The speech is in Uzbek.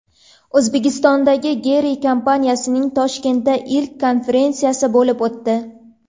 O‘zbekistondagi Gree kompaniyasining Toshkentda ilk konferensiyasi bo‘lib o‘tdi.